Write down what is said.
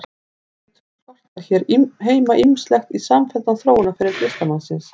Því hlýtur að skorta hér heima ýmislegt í samfelldan þróunarferil listamannsins.